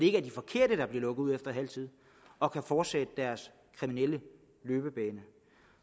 ikke er de forkerte der bliver lukket ud efter halv tid og kan fortsætte deres kriminelle løbebane